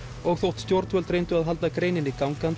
og þótt stjórnvöld reyndu að halda greininni gangandi